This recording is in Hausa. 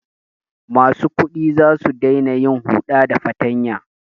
Masu kuɗi za su daina yin huɗa da fatanya.